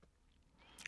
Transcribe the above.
DR2